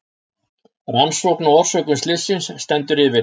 Rannsókn á orsökum slysins stendur yfir